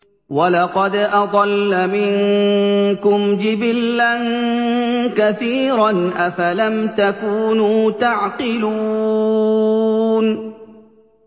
وَلَقَدْ أَضَلَّ مِنكُمْ جِبِلًّا كَثِيرًا ۖ أَفَلَمْ تَكُونُوا تَعْقِلُونَ